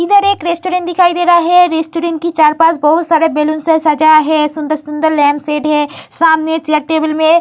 इदर एक रेस्टोरेंट दिखाई दे रहा है। रेस्टॉरंट की चार पास बहुत सारे बैलून से सजाया है। सुंदर-सुंदर लैंप सेट है। सामने चेयर टेबल में --